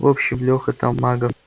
в общем леха там мага